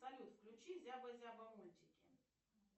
салют включи зяба зяба мультики